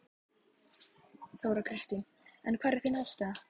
Þóra Kristín: En hver er þín afstaða?